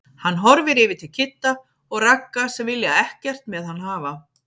Hann horfir yfir til Kidda og Ragga sem vilja ekkert með hann hafa.